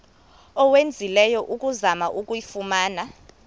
owenzileyo ukuzama ukuyifumana